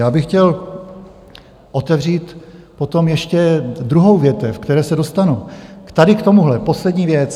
Já bych chtěl otevřít potom ještě druhou větev, ke které se dostanu, tady k tomuhle poslední věc.